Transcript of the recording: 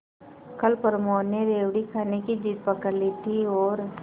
कल प्रमोद ने रेवड़ी खाने की जिद पकड ली थी और